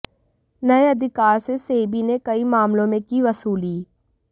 नए अधिकार से सेबी ने कई मामलों में की वसूली